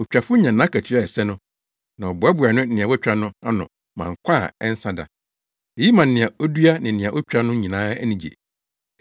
Otwafo nya nʼakatua a ɛsɛ no, na ɔboaboa nea watwa no ano ma nkwa a ɛnsa da. Eyi ma nea odua ne nea otwa no nyinaa ani gye.